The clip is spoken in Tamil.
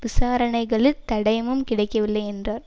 விசாரணைகளில் தடயமும் கிடைக்கவில்லை என்றார்